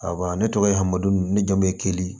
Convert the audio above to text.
Ayiwa ne tɔgɔ ye hamadu ne jamu ye keli